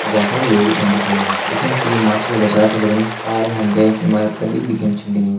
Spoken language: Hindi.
अर भौत सारा लोग भी छन दिखेण लग्यां दिखेण से यु माछु कु बाजार छ लगणु पार मा हमते एक इमारत कर दिखेण छ लगीं।